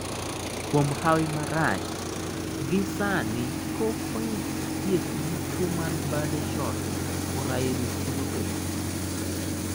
Kuom hawi marach, gisani pok oyud thieth ne tuo mar birdshot chorioretinopathy.